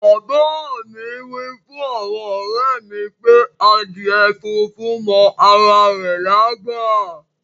Baba mi wifun awon ore mi pe adíè fúnfún mọ ara rè lágbá.